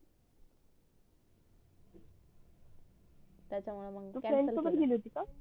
त्याच्या तू फ्रेंड्स सोबत गेली होती का